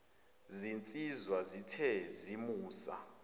zinsizwa zithe zimusa